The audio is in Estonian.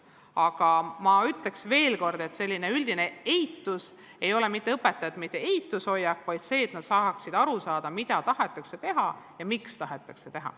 Aga ma ütleks veel kord, et selline üldine eitus ei tähenda mitte õpetajate eitavat hoiakut, vaid seda, et nad tahaksid aru saada, mida tahetakse teha ja miks seda tahetakse teha.